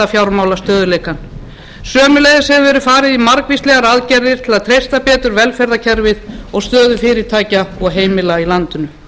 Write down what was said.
fjármálastöðugleikann sömuleiðis hefur verið farið í margvíslegar aðgerðir til að treysta betur velferðarkerfið og stöðu fyrirtækja og heimila í landinu